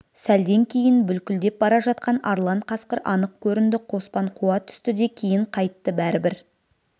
сәлден кейін бүлкілдеп бара жатқан арлан қасқыр анық көрінді қоспан қуа түсті де кейін қайытты бәрібір